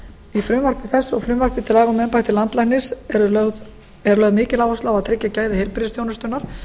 í frumvarpi þessu og frumvarpi til laga um embætti landlæknis er lögð mikil áhersla á að tryggja gæði heilbrigðisþjónustunnar